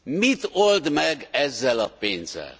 Mit old meg ezzel a pénzzel?